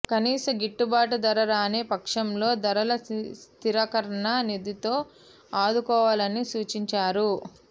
కనీస గిట్టుబాటు ధర రాని పక్షంలో ధరల స్థిరీకరణ నిధితో ఆదుకోవాలని సూచించారు